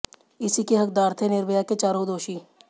इसी के हकदार थे निर्भया के चारों दोषी